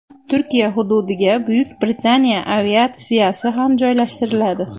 Turkiya hududiga Buyuk Britaniya aviatsiyasi ham joylashtiriladi.